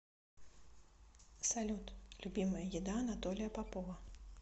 салют любимая еда анатолия попова